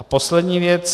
A poslední věc.